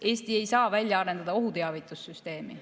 Eesti ei saa välja arendada ohuteavitussüsteemi.